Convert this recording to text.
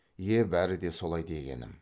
е бәрі де солай дегенім